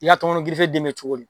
I ya tɔnkɔnɔ gife den bɛ cogo di?